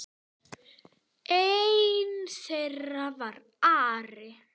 Einn þeirra var Ari.